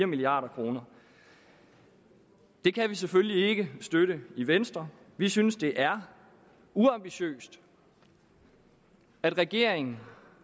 milliard kroner det kan vi selvfølgelig ikke støtte i venstre vi synes det er uambitiøst at regeringen